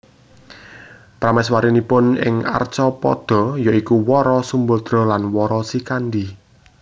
Prameswarinipun ing Arcapada ya iku Wara Sumbadra dan Wara Srikandi